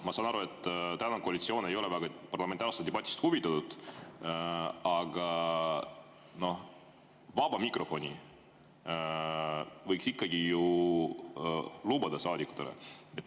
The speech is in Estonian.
Ma saan aru, et koalitsioon ei ole parlamentaarsest debatist väga huvitatud, aga vaba mikrofoni võiks saadikutele ikkagi ju lubada.